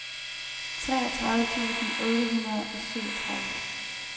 treogtredive tusind otte hundrede og syvogtredive